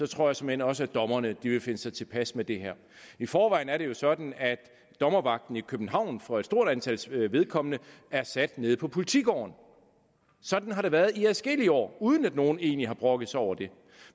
tror jeg såmænd også at dommerne vil finde sig tilpas med det her i forvejen er det jo sådan at dommervagten i københavn for et stort antal sagers vedkommende er sat på politigården sådan har det været i adskillige år uden at nogen egentlig har brokket sig over det